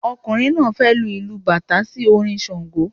Ọkùnrin náà fẹ lu ìlù bàtá sí orin ṣàngó